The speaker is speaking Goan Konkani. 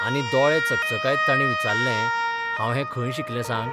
आनी दोळे चकचकायत ताणे विचारलेंः 'हांव हैं खंय शिकलें सांग.